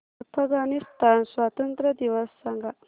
अफगाणिस्तान स्वातंत्र्य दिवस सांगा